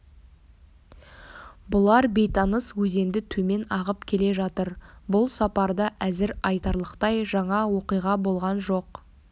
бұлар бейтаныс өзенді төмен ағып келе жатыр бұл сапарда әзір айтарлықтай жаңа оқиға болған жоқ